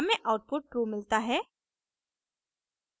हमें output true मिलता है